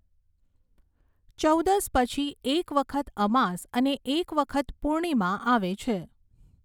ચૌદસ પછી એક વખત અમાસ અને એક વખત પૂર્ણિમા આવે છે.